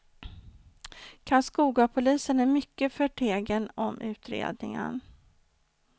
Karlskogapolisen är mycket förtegen om utredningen.